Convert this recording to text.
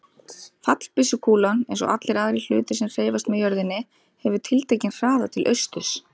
Fallbyssukúlan, eins og allir aðrir hlutir sem hreyfast með jörðinni, hefur tiltekinn hraða til austurs.